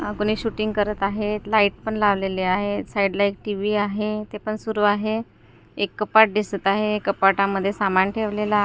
अ कुणी शुटींग करत आहेत लाईट पण लावलेल्या आहेत ते पण सुरु आहे एक कपाट दिसत आहे कपाटामध्ये सामान ठेवलेलं आ--